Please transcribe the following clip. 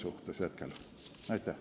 Aitäh!